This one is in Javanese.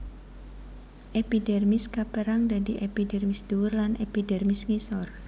Epidermis kapérang dadi epidermis ndhuwur lan epidermis ngisor